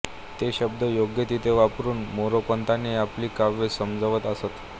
ते शब्द योग्य तेथे वापरून मोरोपंतांनी आपली काव्ये सजवत असत